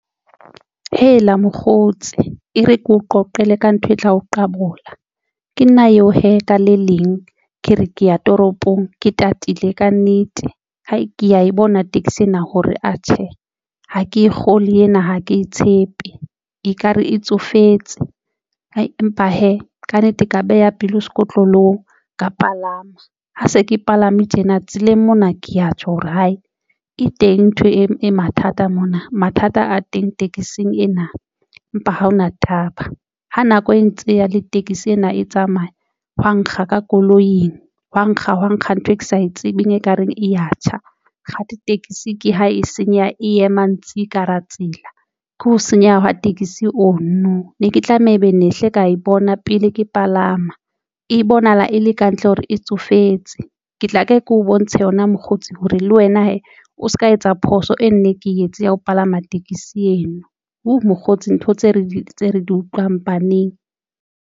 Hela mokgotsi ere keo qoqele ka ntho e tla o qabola. Ke nna eo ka le leng ke re, ke ya toropong ke tatile kannete ha ke ya e bona taxi ena hore atjhe ha ke kgolwe ena, ha ke tshepe ekare e tsofetse empa hee kannete ka beha pelo sekotlolong ka palama. Ha se ke palame tjena tseleng mona ke ya tjho hore hae e teng ntho e mathata mona. Mathata a teng tekesing ena empa ha hona taba ha nako e ntse e ya le tekesi ena e tsamaya hwa nkga ka koloing hwa nkga hwa nkga ntho e ke sa e tsebeng, ekareng e ya tjha. Kgathi taxi ke ha e senya e ema ntse ka hara tsela, ke ho senyeha hwa tekesi ono ne ke tlameha e be ne hle ka e bona pele ke palama, e bonahala e le kantle hore e tsofetse ke tla kae ke o bontshe yona mokgotsi hore le wena he o se ka. Etsa phoso e nne ke etse ya ho palama tekesi eno, hoo mokgotsi ntho tse re di tse re di utlwang baneng.